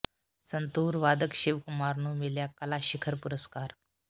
ਸੰਤੂਰ ਵਾਦਕ ਸ਼ਿਵ ਕੁਮਾਰ ਨੂੰ ਮਿਲਿਆ ਕਲਾ ਸ਼ਿਖਰ ਪੁਰਸਕਾਰ